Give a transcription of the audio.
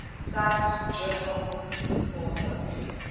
cite journal author